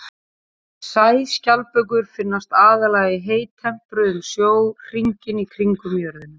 Sæskjaldbökur finnast aðallega í heittempruðum sjó hringinn í kringum jörðina.